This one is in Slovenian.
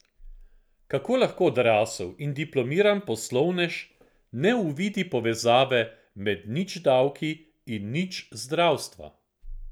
Kako lahko odrasel in diplomiran poslovnež ne uvidi povezave med nič davki in nič zdravstva?